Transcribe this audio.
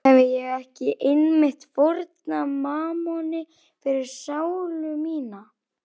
Hefi ég ekki einmitt fórnað mammoni fyrir sálu mína?